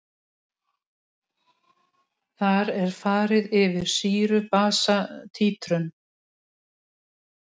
Þar er farið yfir sýru-basa títrun.